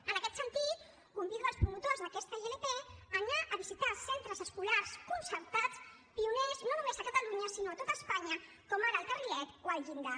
en aquest sentit convido els promotors d’aquesta ilp a anar a visitar centres escolars concertats pioners no només a catalunya sinó a tot espanya com ara el carrilet o el llindar